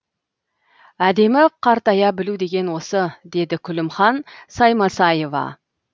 әдемі қартая білу деген осы дейді күлімхан саймасаева